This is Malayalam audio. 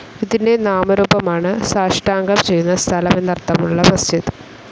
ഇതിൻ്റെ നാമരൂപമാണ് സാഷ്ടാംഗം ചെയ്യുന്ന സ്ഥലം എന്നർത്ഥമുളള മസ്ജിദ്.